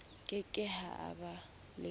ke ke ha ba le